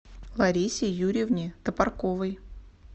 ларисе юрьевне топорковой